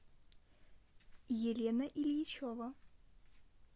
елена ильичева